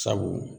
Sabu